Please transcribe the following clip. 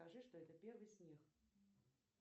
скажи что это первый снег